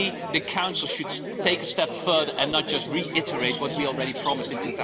The Council should take a step further and not just reiterate what we already promised in